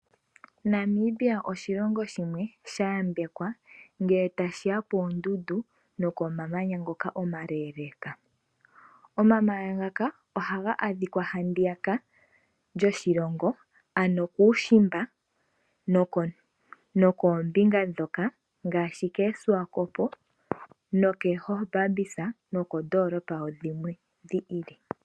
Namibia oshilongo shimwe shayambekwa ngele tashi ya koondundu nokomamanya ngoka omaleeleka. Omamanya ngaka ohaga adhika handiyaka lyoshilongo ano kuushimba nokoombinga ndhoka ngaashi koSwakop nokoGobabis nokoondoolopa dhilwe dhi ili.